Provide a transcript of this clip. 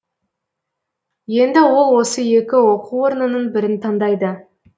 енді ол осы екі оқу орнының бірін таңдайды